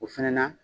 O fɛnɛ na